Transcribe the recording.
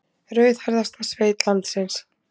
Rauðhærðasta sveit landsins